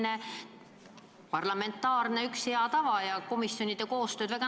See on parlamendi hea tava, mis soodustab komisjonide koostööd.